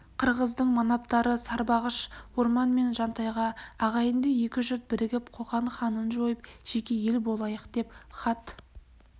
қырғыздың манаптары сарбағыш орман мен жантайға ағайынды екі жұрт бірігіп қоқан ханын жойып жеке ел болайық деп хат